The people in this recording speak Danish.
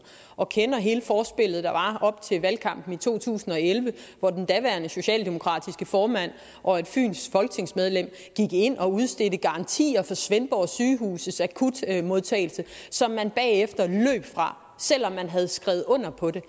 og kender hele forspillet der var op til valgkampen i to tusind og elleve hvor den daværende socialdemokratiske formand og et fynsk folketingsmedlem gik ind og udstedte garantier for svendborg sygehus akutmodtagelse som man bagefter løb fra selv om man havde skrevet under på det